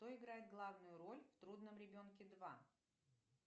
кто играет главную роль в трудном ребенке два